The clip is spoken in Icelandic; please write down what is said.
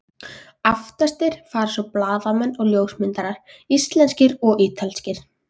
Aftastir fara svo blaðamenn og ljósmyndarar, íslenskir og ítalskir.